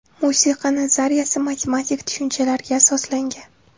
Musiqa nazariyasi matematik tushunchalarga asoslangan.